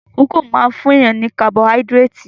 Kókò máa fún èèyàn ní kabọáídírétì